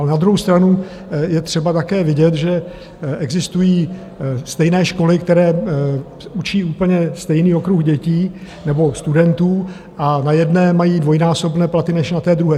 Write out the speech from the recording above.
Ale na druhou stranu je třeba také vidět, že existují stejné školy, které učí úplně stejný okruh dětí nebo studentů, a na jedné mají dvojnásobné platy než na té druhé.